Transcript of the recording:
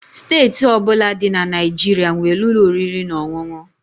Steeti ọ bụla dị na Naịjirịa nwere ụlọ oriri na ọṅụṅụ